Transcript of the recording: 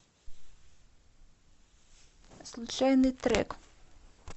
случайный трек